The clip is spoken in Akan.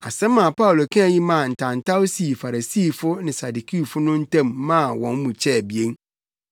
Asɛm a Paulo kae yi maa ntawntaw sii Farisifo ne Sadukifo no ntam maa wɔn mu kyɛɛ abien